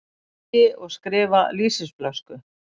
Segi og skrifa lýsisflösku.